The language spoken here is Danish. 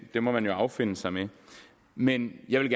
det må man jo affinde sig med men jeg vil